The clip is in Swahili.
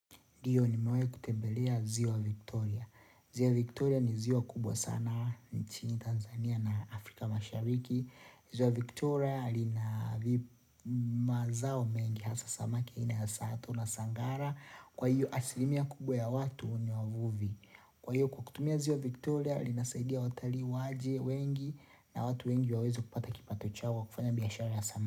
Ndio nimewai kutembelea ziwa Victoria. Ziwa Victoria ni ziwa kubwa sana nchini Tanzania na Afrika mashariki. Ziwa Victoria lina vi mazao mengi hasa samaki aina ya sato na sangara. Kwa hiyo asilimia kubwa ya watu ni wavuvi. Kwa hiyo kwa kutumia ziwa Victoria linasaidia watalii waje wengi na watu wengi waweze kupata kipato chao wa kufanya biashara ya sama.